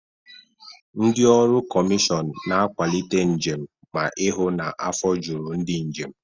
Ndị ọrụ kọmịshọn na-akwalite njem ma ihụ na afọ juru ndị njem.